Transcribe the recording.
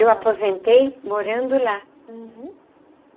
Eu aposentei morando lá. Uhum.